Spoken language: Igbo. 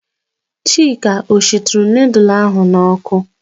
Chika ọ shituru nudul ahụ n'ọkụ?